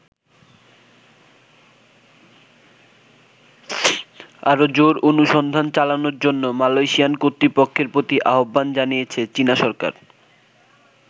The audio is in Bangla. আরো জোর অনুসন্ধান চালানোর জন্য মালয়েশিয়ান কর্তৃপক্ষের প্রতি আহ্বান জানিয়েছে চীন সরকার।